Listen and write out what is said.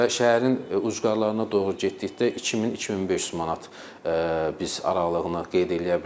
Və şəhərin ucqarlarına doğru getdikdə 2000, 2500 manat biz aralığını qeyd eləyə bilərik.